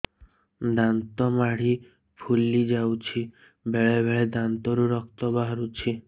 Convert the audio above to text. ଦାନ୍ତ ମାଢ଼ି ଫୁଲି ଯାଉଛି ବେଳେବେଳେ ଦାନ୍ତରୁ ରକ୍ତ ବାହାରୁଛି